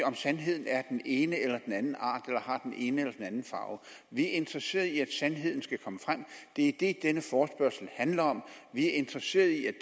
om sandheden er af den ene eller den anden art eller har den ene eller den anden farve vi er interesserede i at sandheden skal komme frem det er det denne forespørgsel handler om vi er interesserede i at